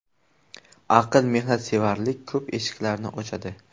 Aql va mehnatsevarlik ko‘p eshiklarni ochadi.